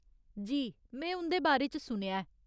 जी, में उं'दे बारे च सुनेआ ऐ।